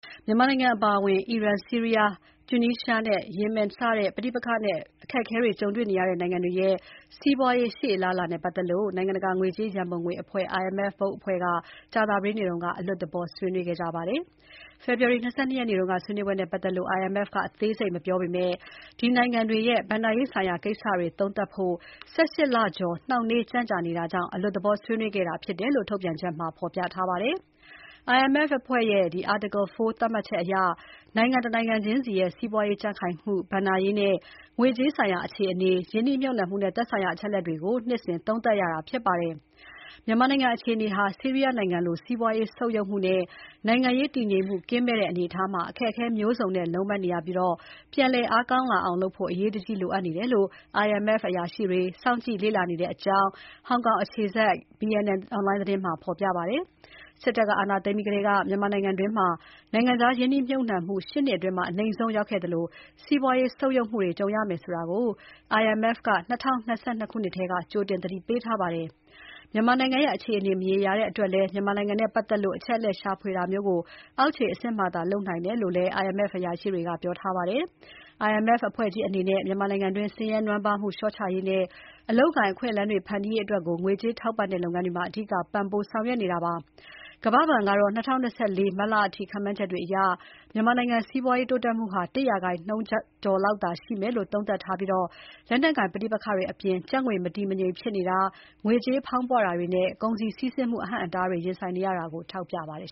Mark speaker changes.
Speaker 1: မြန်မာနိုင်ငံအပါအဝင် အီရန်၊ ဆီးရီးယား၊ တူနီးရှားနဲ့ ယီမင်စတဲ့ ပဋိပက္ခနဲ့ အခက်အခဲတွေ ကြုံတွေ့နေရတဲ့ နိုင်ငံတွေရဲ့ စီးပွားရေး ရှေ့အလားအလာနဲ့ ပတ်သက်လို့ နိုင်ငံတကာ ငွေကြေးရန်ပုံငွေ အဖွဲ့ IMF Board အဖွဲ့က မနေ့က အလွတ်သဘော ဆွေးနွေးပွဲ ကျင်းပပါတယ်။ ဖေဖော်ဝါရီ ၂၂ ရက်နေ့က ဆွေးနွေးပွဲနဲ့ပတ်သက်လို့ IMF ကအသေးစိတ်မပြောပေမဲ့ ဒီနိုင်ငံတွေရဲ့ ဘဏ္ဍာရေးဆိုင်ရာကိစ္စတွေ သုံးသပ်ဖို့ ၁၈ လကျော် နှောင့်နှေး ကြန့်ကြာနေတာကြောင့် အလွတ်သဘော ဆွေးနွေးခဲ့တာဖြစ်တယ်လို့ ထုတ်ပြန်ချက်မှာ ဖော်ပြထားပါတယ်။ IMF အဖွဲ့ရဲ့ Article IV သတ်မှတ်ချက်အရ နိုင်ငံတနိုင်ငံချင်းစီရဲ့ စီးပွားရေးကြံ့ခိုင်မှု၊ ဘဏ္ဍာရေးနဲ့ ငွေကြေးဆိုင်ရာ အခြေအနေ၊ ရင်းနှီးမြုပ်နှံမှုနဲ့ သက်ဆိုင်ရာ အချက်အလက်တွေကို နှစ်စဉ်သုံးသပ်ရတာဖြစ်ပါတယ်။ မြန်မာနိုင်ငံအတွင်း အခြေအနေဟာ ဆီးရီးယားနိုင်ငံလို စီးပွားရေး ဆုတ်ယုတ်မှုနဲ့ နိုင်ငံရေး တည်ငြိမ်မှုကင်းမဲ့တဲ့ အနေအထားမှာ အခက်အခဲမျိုးစုံနဲ့ လုံးပန်းနေရပြီး ပြန်လည်အားကောင်းလာအောင်လုပ်ဖို့ အရေးတကြီးလို အပ်နေတာကို IMF အရာရှိတွေ စောင့်ကြည့် လေ့လာနေတဲ့အကြောင်း ဟောင်ကောင် အခြေစိုက် BNN အွန်လိုင်းသတင်းမှာ ဖေါ်ပြပါတယ်။ စစ်တပ်က အာဏာသိမ်းပြီးကတည်းက မြန်မာနိုင်ငံအတွင်း နိုင်ငံခြားရင်းနှီးမြှုပ်နှံမှု ၈ နှစ်တာအတွင်း အနိမ့်ဆုံးရောက်နေသလို စီးပွားရေး ဆုတ်ယုတ်မှုတွေ ကြုံရမယ်ဆိုတာကို နိုင်ငံတကာ ငွေကြေးရန်ပုံငွေအဖွဲ့ (IMF) က ၂၀၂၂ ခုနှစ်ကတည်းက ကြိုတင် သတိပေးထားတာပါ။ မြန်မာနိုင်ငံရဲ့ အခြေအနေ မရေမရာတဲ့ အတွက်လည်း မြန်မာနိုင်ငံနဲ့ ပတ်သက်လို့ အချက်အလက် ရှာဖွေတာမျိုးကို အဆင့်နိမ့် လုပ်ငန်းတွေသာ လုပ်ကိုင်နေတဲ့ အကြောင်းလည်း IMF အရာရှိတွေ ပြောဆိုထားပါတယ်။ IMF အဖွဲ့ကြီးအနေနဲ့ မြန်မာနိုင်ငံအတွင်း ဆင်းရဲနွမ်းပါးမှု လျှော့ချရေးနဲ့ အလုပ်အကိုင် အခွင့်အလမ်းတွေ ဖန်တီးရေးအတွက် ငွေကြေးထောက်ပံ့တဲ့ လုပ်ငန်းတွေမှာ အဓိက ပံ့ပိုး ဆောင်ရွက်နေပါတယ်။ ကမ္ဘာဘဏ်ကတော့ ၂၀၂၄ ခုနှစ် မတ်လအထိ ခန့်မှန်းချက်အရ မြန်မာနိုင်ငံ စီးပွားရေး တိုးတက်မှုဟာ ၁% နှုန်းကျော်လောက်သာ ရှိမယ်လို့ သုံးသပ်ထားပြီး လက်နက်ကိုင် ပဋိပက္ခတွေအပြင် ကျပ်ငွေ မတည်မငြိမ်ဖြစ်နေတာ၊ ငွေကြေးဖောင်းပွတာတွေနဲ့ ကုန်စည်စီးဆင်းမှု အဟန့်အတားတွေ ရင်ဆိုင်နေရတာတွေကို ထောက်ပြထားပါတယ်